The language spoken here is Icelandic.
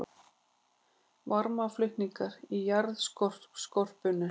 Varmaflutningur í jarðskorpunni